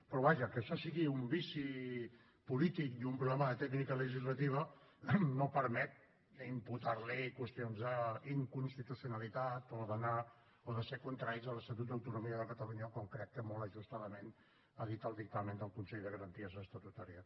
però vaja que això sigui un vici polític i un problema de tècnica legislativa no permet imputar li qüestions d’inconstitucionalitat o de ser contraris a l’estatut d’autonomia de catalunya com crec que molt ajustadament ha dit el dictamen del consell de garanties estatutàries